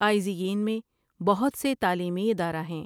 آئزی یِن میں بہت سے تعلیمی ادارہ ہیں ۔